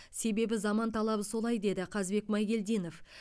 себебі заман талабы солай деді қазбек майгелдинов